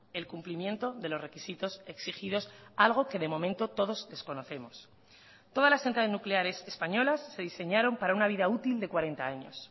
el cumplimiento de los requisitos exigidos algo que de momento todos desconocemos todas las centrales nucleares españolas se diseñaron para una vida útil de cuarenta años